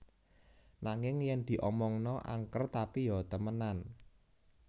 Nanging Yen di Omongna Angker Tapi Ya Temenan